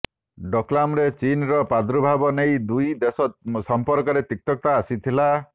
ଡୋକଲାମରେ ଚୀନର ପ୍ରାର୍ଦୁଭାବ ନେଇ ଦୁଇ ଦେଶ ସମ୍ପର୍କରେ ତିକ୍ତତା ଆସିଥିଲା